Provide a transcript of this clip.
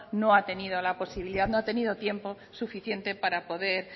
no ha tenido la posibilidad no ha tenido tiempo suficiente para poder